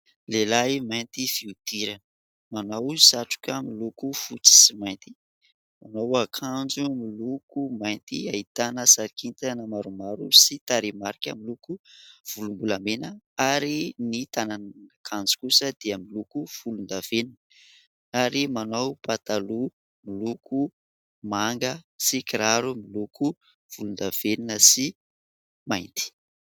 Lehilahy mainty fihodirana, manao satroka miloko fotsy sy mainty, manao akanjo miloko mainty ahitana sarina kintana na maromaro sy taremarika miloko volombolamena ary ny tananakanjo kosa dia miloko volondavenina ary manao pataloha miloko manga sy kiraro miloko volondavenina sy mainty.